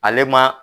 Ale ma